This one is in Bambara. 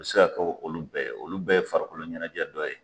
A be se ka kɛ olu bɛɛ ye olu bɛɛ ye farakolo ɲɛnɛjɛ dɔ ye